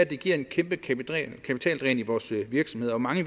det giver et kæmpe kapitaldræn i vores virksomheder og mange